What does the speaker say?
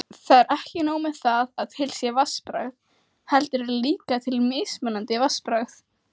Edith, ég kom með tuttugu húfur!